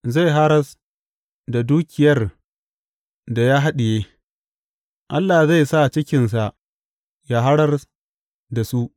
Zai haras da dukiyar da ya haɗiye; Allah zai sa cikinsa yă haras da su.